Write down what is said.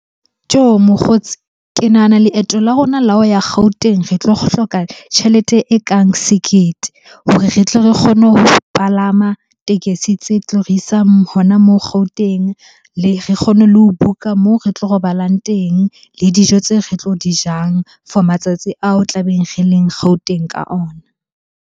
Tjoh! Mokgotsi. Ke Nahana leeto la rona la ho ya Gauteng re tlo hloka tjhelete e kang sekete hore re tle re kgone ho palama tekesi tse tlo re isang hona moo Gauteng. Re kgone le ho book-a moo re tlo robalang teng, le dijo tse re tlo di jang for matsatsi ao tlabeng re leng Gauteng ka ona.